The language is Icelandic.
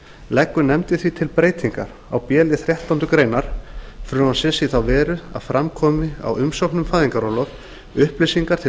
leggur nefndin því til breytingar á b lið þrettándu greinar frumvarpsins í þá veru að fram komi á umsókn um fæðingarorlof upplýsingar til